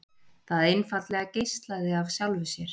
Það einfaldlega geislaði af sjálfu sér.